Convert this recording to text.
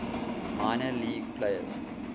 minor league players